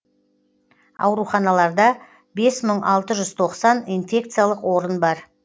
ауруханаларда бес мың алты жүз тоқсан инфекциялық орын бар